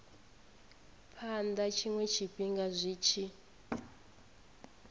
phana tshiwe tshifhinga zwi tshi